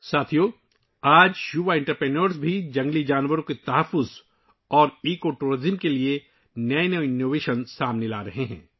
ساتھیو، آج نوجوان صنعت کار جنگلی حیات کے تحفظ اور ماحولیاتی سیاحت کے لیے بھی نئی ایجادات لا رہے ہیں